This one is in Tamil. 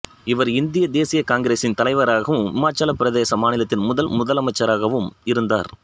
இவர் இந்திய தேசிய காங்கிரஸின் தலைவராகவும் இமாச்சலப் பிரதேச மாநிலத்தின் முதல் முதலமைச்சராகவும் இருந்தார்